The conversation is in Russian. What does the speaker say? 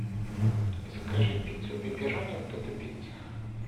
закажи пиццу пепперони в додо пицца